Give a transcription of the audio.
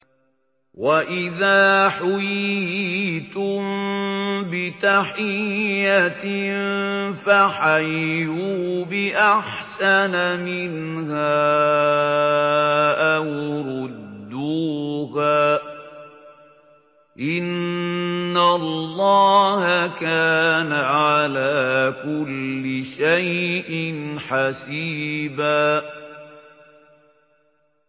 وَإِذَا حُيِّيتُم بِتَحِيَّةٍ فَحَيُّوا بِأَحْسَنَ مِنْهَا أَوْ رُدُّوهَا ۗ إِنَّ اللَّهَ كَانَ عَلَىٰ كُلِّ شَيْءٍ حَسِيبًا